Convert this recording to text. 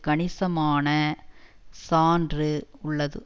கணிசமான சான்று உள்ளது